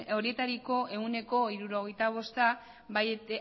horietako ehuneko hirurogeita bosta bai